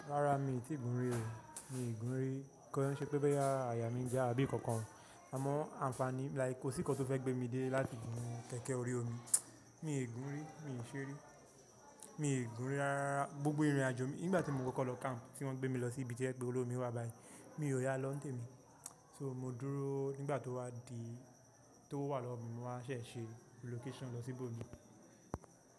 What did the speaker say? Rárá mi ò tí ì gún rí o, mi ò gún rí. Kí ọ ṣe pé bẹ́ yá àyà mí ń gba àbí ìkankan, àmọ́ àǹfààní like kò sí nnkan tó fẹ́ gbé mi dé láti gún kẹ̀kẹ́ orí omi. Mi ò gún rí, mi ò ṣe rí. Mi ò gún re rárá gbogbo ìrìnàjò mi, nígbà tí mo kọ́kọ́ lọ camp tí wọ́n gbé mi lọ sí ibi tí ẹ̀gbẹ́ olómi wà báyìí, mi ò yá lọ́ǹtẹ̀ mi. So mo dúró nígbà tó wá di tó wà lọ́wọ́ mi mo wá ṣẹ̀ ṣe relocation lọ sí ìbò mi.